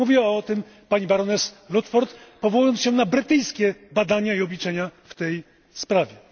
Mówiła o tym pani baroness Ludford powołując się na brytyjskie badania i obliczenia w tej sprawie.